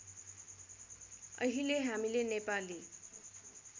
अहिले हामीले नेपाली